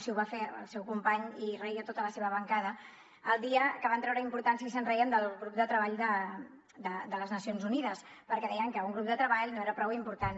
sí ho va fer el seu company i reia tota la seva bancada el dia que van treure importància i se’n reien del grup de treball de les nacions unides perquè deien que un grup de treball no era prou important